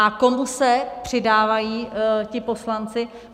A komu se přidávají ti poslanci?